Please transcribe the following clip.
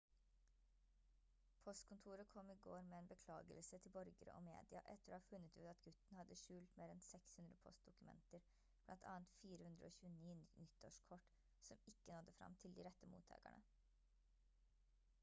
postkontoret kom i går med en beklagelse til borgere og media etter å ha funnet ut at gutten hadde skjult mer enn 600 postdokumenter blant annet 429 nyttårskort som ikke nådde frem til de rette mottakerne